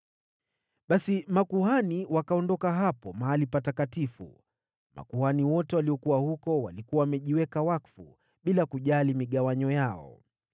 Basi makuhani wakaondoka hapo Mahali Patakatifu. Makuhani wote waliokuwa huko walikuwa wamejiweka wakfu, bila kujali migawanyo yao.